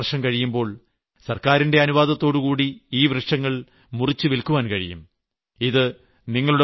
പതിനഞ്ചോ ഇരുപതോ വർഷം കഴിയുമ്പോൾ സർക്കാരിന്റെ അനുവാദത്തോടുകൂടി ഈ വൃക്ഷങ്ങൾ മുറിച്ചുവില്ക്കാൻ കഴിയും